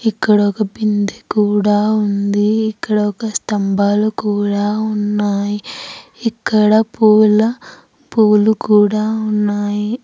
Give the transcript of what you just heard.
ఇక్కడ ఒక బింది కూడా ఉంది ఇక్కడ ఒక స్తంబాలు కూడా ఉన్నాయి ఇక్కడ పూల పూలు కూడా ఉన్నాయి.